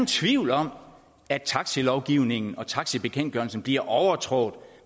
tvivl om at taxalovgivningen og taxabekendtgørelsen bliver overtrådt